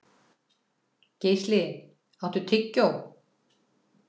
Geisli, áttu tyggjó?